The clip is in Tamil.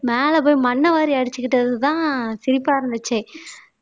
மேலே போய் மண்ணை வாரி அடிச்சுக்கிட்டதுதான் சிரிப்பா இருந்துச்சு